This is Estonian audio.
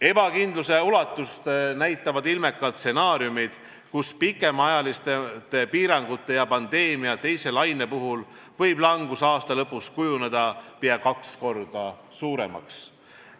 Ebakindluse ulatust näitavad ilmekalt stsenaariumid, kus pikemaajaliste piirangute ja pandeemia teise laine puhul võib langus aasta lõpus kujuneda peaaegu kaks korda suuremaks.